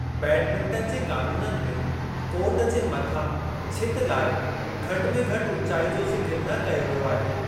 Badminton जे क़ानूननि में कोर्ट जे मथां छिति लाइ घटि में घटि ऊंचाई जो ज़िकर न कयो वियो आहे।